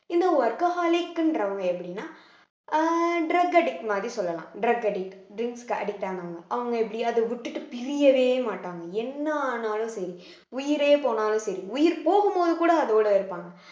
இந்த workaholic ன்றவங்க எப்படின்னா அஹ் drug addict மாதிரி சொல்லலாம் drug addict drinks க்கு addict ஆனவங்க அவங்க எப்படி அத விட்டுட்டு பிரியவே மாட்டாங்க என்ன ஆனாலும் சரி உயிரே போனாலும் சரி உயிர் போகும்போது கூட அதோட இருப்பாங்க